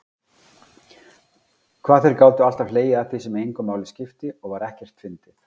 Hvað þeir gátu alltaf hlegið að því sem engu máli skipti og var ekkert fyndið.